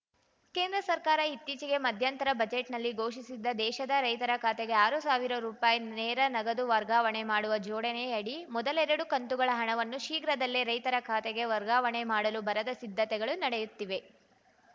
ಕೇಂದ್ರ ಸರ್ಕಾರ ಇತ್ತೀಚೆಗೆ ಮಧ್ಯಂತರ ಬಜೆಟ್‌ನಲ್ಲಿ ಘೋಷಿಸಿದ್ದ ದೇಶದ ರೈತರ ಖಾತೆಗೆ ಆರು ಸಾವಿರ ರುಪಾಯಿ ನೇರ ನಗದು ವರ್ಗಾವಣೆ ಮಾಡುವ ಜೋಡಣೆಯಡಿ ಮೊದಲೆರಡು ಕಂತುಗಳ ಹಣವನ್ನು ಶೀಘ್ರದಲ್ಲೇ ರೈತರ ಖಾತೆಗೆ ವರ್ಗಾವಣೆ ಮಾಡಲು ಭರದ ಸಿದ್ಧತೆಗಳು ನಡೆಯುತ್ತಿವೆ